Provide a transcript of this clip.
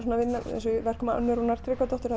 eins og í verkum Önnu Rúnar Tryggvadóttur